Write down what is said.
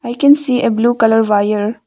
I can see a blue colour wire.